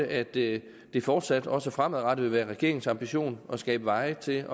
at det fortsat også fremadrettet vil være regeringens ambition at skabe veje til